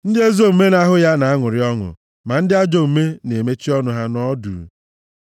Ndị ezi omume na-ahụ ya na-aṅụrị ọṅụ, ma ndị ajọ omume na-emechi ọnụ ha nọọ duu.